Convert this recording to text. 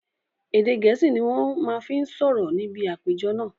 Èdè gẹ̀ẹ́sì ni wọn má fi sọ̀rọ̀ níbi àpéjọ náà